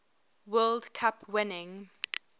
world cup winning